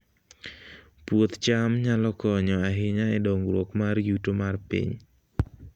Puoth cham nyalo konyo ahinya e dongruok mar yuto mar piny